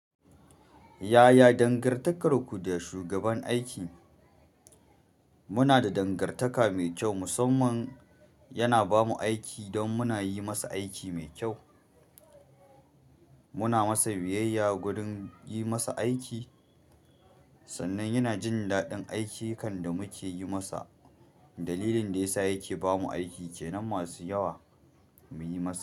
Yaya dangantakarku da shugaban aiki? Muna da dangar taka mai kyau, musamman yana ba mu aiki don muna yi masa aiki mai kyau. Muna masa biyayya gurin yi masa aiki sannan yana jin daɗin aiki kan da muke yi masa. Dalilin da ya sa yake ba mu aiki kenan, masu yawa muyi masa.